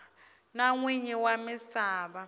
na n winyi wa misava